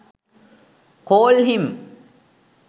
call him